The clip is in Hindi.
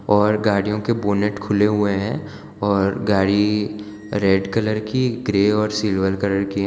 और गाड़ियों के बोनट खुले हुए हैं और गाड़ी रेड कलर की ग्रे और सिल्वर कलर की हैं।